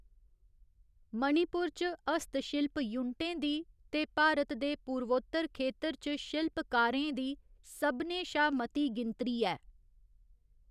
मणिपुर च हत्थशिल्प यूनटें दी ते भारत दे पूर्वोत्तर खेतर च शिल्पकारें दी सभनें शा मती गिनती ऐ।